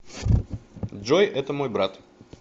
джой это мой брат